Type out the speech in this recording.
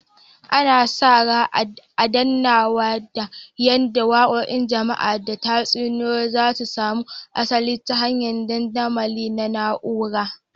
Ana sa ran adanawa da yada wakokin jama'a da tatsuniyoyi za su samo asali ta hanyar dandamali na na'ura